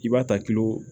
I b'a ta kilo